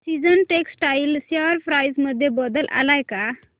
seasons textile share price मध्ये बदल आलाय का